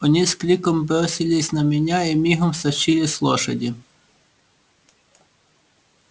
они с криком бросились на меня и мигом стащили с лошади